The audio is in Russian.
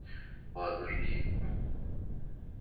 ладно жди